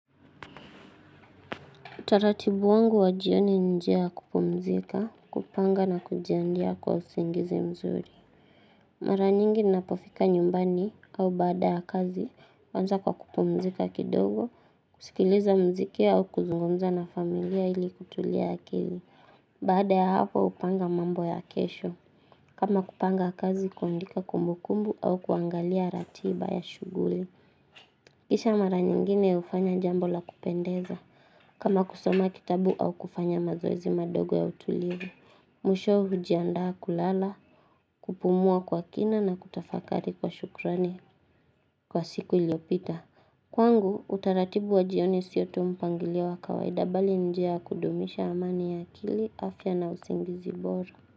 Utaratibu wangu wajioni nje ya kupumzika, kupanga na kujiandaa kwa usingizi mzuri. Mara nyingi ninapofika nyumbani au baada ya kazi, huanza kwa kupumzika kidogo, kusikiliza muziki au kuzungumza na familia ili kutulia akili. Baada ya hapo hupanga mambo ya kesho. Kama kupanga kazi kuandika kumbukumbu au kuangalia ratiba ya shughuli. Kisha mara nyingine hufanya jambo la kupendeza, kama kusoma kitabu au kufanya mazoezi madogo ya utulivu Mwishowe hujiandaa kulala, kupumua kwa kina na kutafakari kwa shukrani. Kwa siku iliyopita, kwangu utaratibu wa jioni siyo tuu mpangilio wa kawaida bali njia kudumisha amani ya akili, afya na usingizi bora.